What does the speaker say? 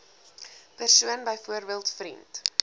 persoon byvoorbeeld vriend